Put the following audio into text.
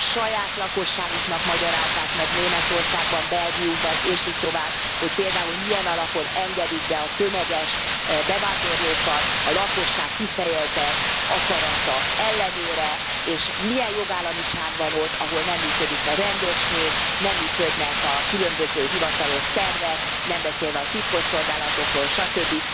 A saját lakosságuknak magyarázzák meg Németországban, Belgiumban és így tovább, hogy például milyen alapon engedik be a tömeges bevándorlókat a lakosság kifejezett akarata ellenére, és milyen jogállamiság van ott, ahol nem működik a rendőrség, nem működnek a különböző hivatalos szervek, nem beszélve a titkosszolgálatokról, stb.